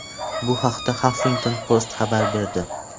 Bu haqda Huffington Post xabar berdi .